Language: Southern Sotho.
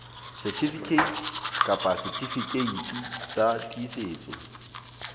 certificate kapa setifikeiti sa tiisetso